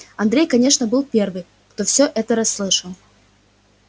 андрей конечно был первым кто все это расслышал